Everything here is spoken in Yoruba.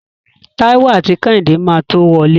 Táíwò àti Kẹ́hìndé máa tó wọlé.